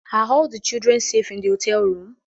Are all the children safe in the hotel room?